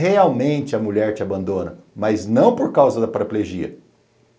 Realmente a mulher te abandona, mas não por causa da paraplegia.